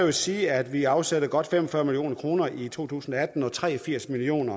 at sige at vi afsætter godt fem og fyrre million kroner i to tusind og atten og tre og firs million